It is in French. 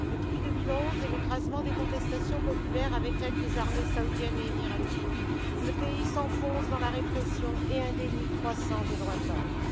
Depuis 2011 et l'écrasement des contestations populaires avec l'aide des armées saoudiennes et émiraties, le pays s'enfonce dans la répression et un déni croissant des droits de l'homme.